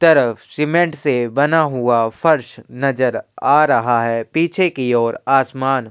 तरफ सीमेंट से बना हुआ फर्श नजर आ रहा है। पीछे की ओर आसमान --